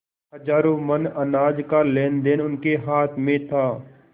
हजारों मन अनाज का लेनदेन उनके हाथ में था